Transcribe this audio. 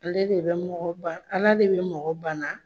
Ale de bɛ mɔgɔ de ba Ala de bɛ mɔgɔ bana.